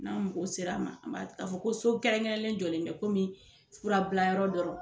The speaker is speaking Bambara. N'an mɔgɔw sera ma an b'a ta k'a fɔ ko so kɛrɛnkɛrɛn jɔlen bɛɛ kɔmi fura bila yɔrɔ dɔrɔn